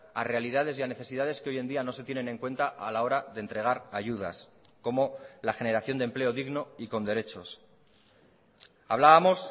a realidades y necesidades que hoy en día no se tienen en cuenta a la hora de entregar ayudas como la generación de empleo digno y con derechos hablábamos